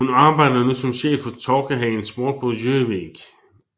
Hun arbejder nu som chef hos Torkehagen Sport på Gjøvik